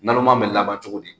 Naloma bɛ laban cogo di?